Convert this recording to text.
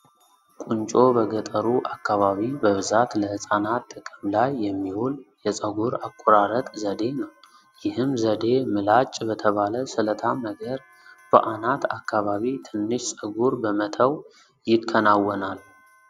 ቁንጮ በገጠሩ አካባቢ በብዛት ለህፃናት ጥቅም ላይ የሚውል የፀጉር አቆራረጥ ዘዴ ነው። ይህም ዘዴ ምላጭ በተባለ ስለታም ነገር በአናት አካባቢ ትንሽ ፀጉር በመተው ይከናወናል።